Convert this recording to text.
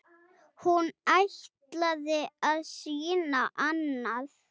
Hún ætlaði að sýna annað.